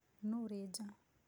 Nũ ũrĩ nja?